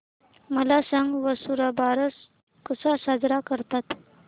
मला सांग वसुबारस कसा साजरा करतात